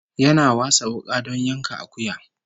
Yana wasa wuka don yanka akuya